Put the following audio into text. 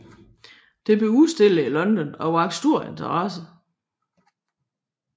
Det blev udstillet i London og vakte stor interesse